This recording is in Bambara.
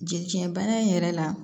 Jɛci bana in yɛrɛ la